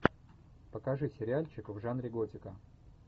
покажи сериальчик в жанре готика